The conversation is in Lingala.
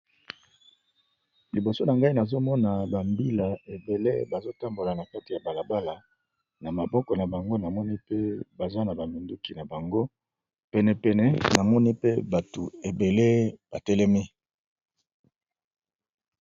Liboso na ngai nazomona bambila ebele. Bazo tambola na kati ya balabala na maboko na bango namoni pe baza na baminduki na bango penepene namoni pe batu ebele batelemi.